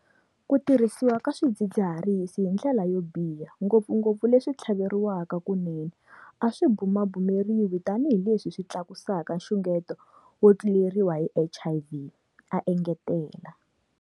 Ku tirhisiwa ka swidzid ziharisi hi ndlela yo biha - ngopfungopfu leswi swi tlhaveriwaka kunene - a swi bumabumeriwi tanihileswi swi tlakusaka nxungeto wo tluleriwa hi HIV, a engetela.